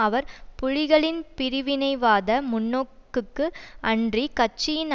அவர் புலிகளின் பிரிவினைவாத முன்நோக்குக்கு அன்றி கட்சியின்